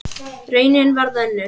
Raunin varð önnur.